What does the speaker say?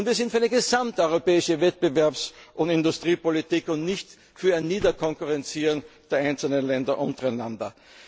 können. Und wir sind für eine gesamteuropäische Wettbewerbs und Industriepolitik und nicht für ein Niederkonkurrieren der einzelnen Länder untereinander.